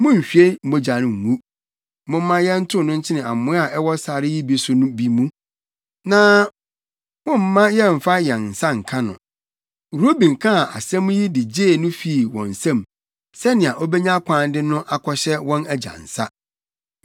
Munnhwie mogya ngu. Momma yɛntow no nkyene amoa a ɛwɔ sare yi so no bi mu. Na mommma yɛmfa yɛn nsa nka no.” Ruben kaa saa asɛm yi de gyee no fii wɔn nsam, sɛnea obenya kwan de no akɔhyɛ wɔn agya nsa.